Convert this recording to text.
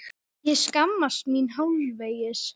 Ég skammast mín hálfvegis.